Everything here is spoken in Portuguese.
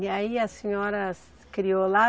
E aí a senhora criou lá?